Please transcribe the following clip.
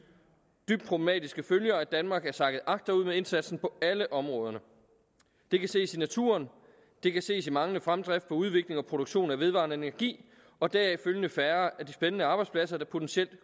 dybt problematiske følger at danmark er sakket agterud med indsatsen på alle områderne det kan ses i naturen og det kan ses i manglende fremdrift på udvikling og produktion af vedvarende energi og deraf følgende færre af de spændende arbejdspladser der potentielt